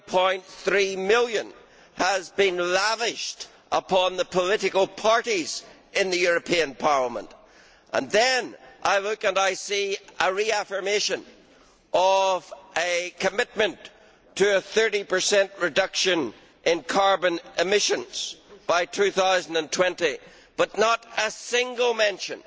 9.3 million has been lavished upon the political parties in the European Parliament, and then I look and see a reaffirmation of a commitment to a 30 reduction in carbon emissions by 2020, but not a single mention